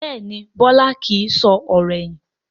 Bẹ́ẹ̀ni Bọlá kìí sọ̀rọ̀ ẹ̀yìn